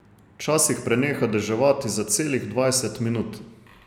Včasih preneha deževati za celih dvajset minut.